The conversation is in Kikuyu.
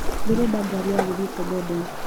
Ndĩrenda ngari ya gũthie Kobodo.